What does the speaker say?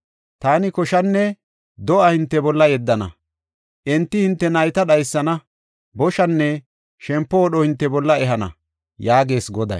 Taani koshanne do7a hinte bolla yeddana; enti hinte nayta dhaysana; boshanne shempo wodho hinte bolla ehana” yaagees Goday.